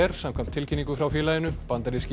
samkvæmt tilkynningu frá félaginu bandaríski